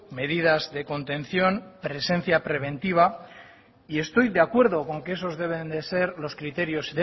medidas de contención presencia preventiva y estoy de acuerdo con que esos deben de ser los criterios